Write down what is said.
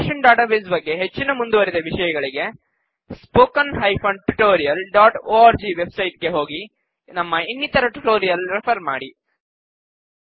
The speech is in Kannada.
ರಿಲೇಶನಲ್ ಡಾಟಾಬೇಸ್ ಬಗ್ಗೆ ಹೆಚ್ಚಿನ ಮುಂದುವರಿದ ವಿಷಯಗಳಿಗೆ httpspoken tutorialorg ವೆಬ್ ಸೈಟ್ ಗೆ ಹೋಗಿ ನಮ್ಮ ಇನ್ನಿತರ ಟ್ಯುಟೋರಿಯಲ್ ರೆಫರ್ ಮಾಡಿ